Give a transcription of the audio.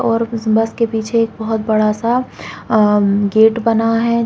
और उस बस के पीछे बहुत बड़ा स हम्म गेट बना है |